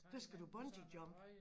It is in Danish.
Der skal du bungeejump